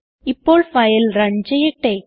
ഇപ്പോൾ file run ചെയ്യട്ടെ